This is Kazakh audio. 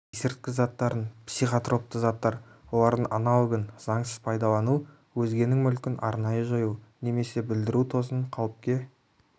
есірткі заттарын психотропты заттар олардың аналогын заңсыз пайдалану өзгенің мүлкін арнайы жою немесе бұлдіру тосын қауіпке